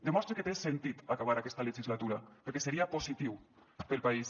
demostre que té sentit acabar aquesta legislatura perquè seria positiu per al país